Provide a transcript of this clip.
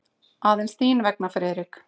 Aðeins þín vegna, Friðrik.